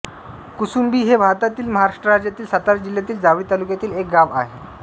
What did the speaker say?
कुसुंबी हे भारतातील महाराष्ट्र राज्यातील सातारा जिल्ह्यातील जावळी तालुक्यातील एक गाव आहे